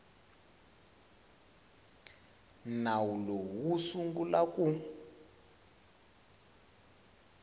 nawu lowu wu sungula ku